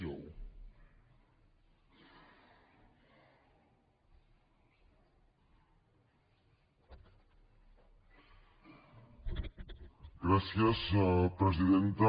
gràcies presidenta